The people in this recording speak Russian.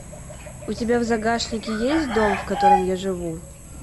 у тебя в загашнике есть дом в котором я живу